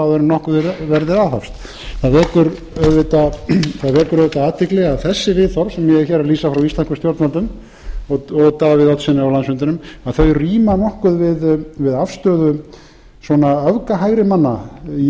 áður en nokkuð verði aðhafst það vekur auðvitað athygli að þessi viðhorf sem ég er hér að lýsa frá íslenskum stjórnvöldum og davíð oddssyni á landsfundinum að þau ríma nokkuð við afstöðu öfgahægrimanna